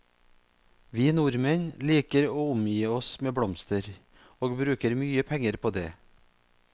Vi nordmenn liker å omgi oss med blomster, og bruker mye penger på det.